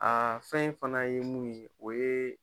Aa fɛn in fana ye mun ye o ye